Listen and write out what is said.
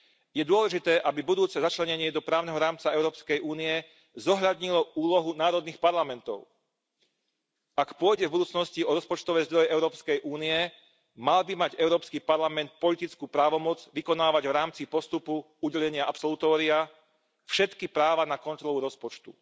Je dôležité, aby budúce začlenenie do právneho rámca EÚ zohľadnilo úlohu národných parlamentov. Ak pôjde v budúcnosti o rozpočtové zdroje Európskej únie, mal by mať Európsky parlament politickú právomoc vykonávať v rámci postupu udelenia absolutória všetky práva na kontrolu rozpočtu.